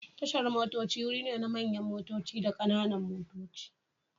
Tashar motoci wuri ne na don manyan motoci da kananan motoci.